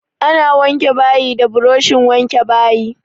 Ana wanke bayi da buroshin wanke bayi.